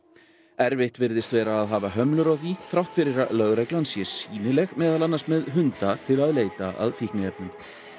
erfitt virðist vera að hafa hömlur á því þrátt fyrir að lögreglan sé sýnileg meðal annars með hunda til að leita að fíkniefnum